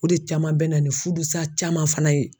O de caman bɛ na ni fudusa caman fana ye.